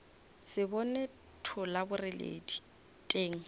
se bone thola boreledi teng